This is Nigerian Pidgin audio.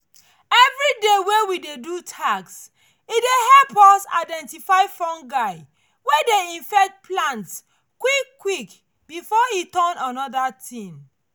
everyday wey we dey do tasks e dey help us identify fungi wey dey infect plants quick quick before e turn another thing